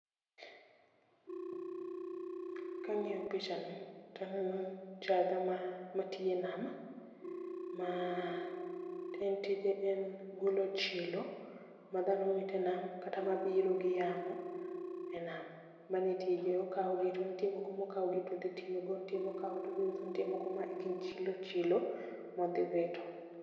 Kang'io picha ni, taneno jaadha ma matiyo e nam, ma en tije en golo chilo ma dhano wite nam kata ma biro gi yamo e nam. Manetije, okao gi to nitie moko mokaogi todhi tiyogo nitie mokao todhiuso nitie moko ma gin chilo chilo, modhi wito.